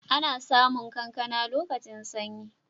Ana samu kankana lokacin sanyi.